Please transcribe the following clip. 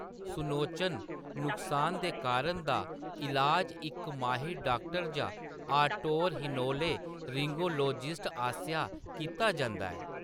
सुनोचन नुकसान दे कारण दा ईलाज इक माहिर डाक्टर जां ऑटोरहिनोलेरिंगोलोजिस्ट आसेआ कीता जंदा ऐ।